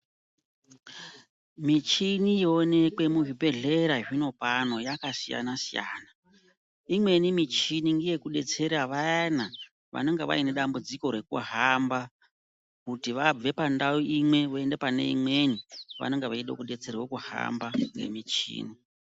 Michini yoonekwe muzvibhedhlera zvinopano yakasiyana-siyana. Imweni michini ngeyekudetsera vayana vanenge vaine dambudziko rekuhamba, kuti vabve pandau